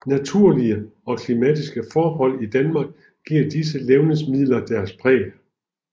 Naturlige og klimatiske forhold i Danmark giver disse levnedsmider deres præg